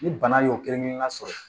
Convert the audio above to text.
Ni bana y'o kelen kelenna sɔrɔ